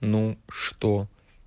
ну что